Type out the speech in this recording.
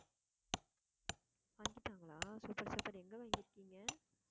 வாங்கிட்டாங்களா super super எங்க வாங்கி இருக்கீங்க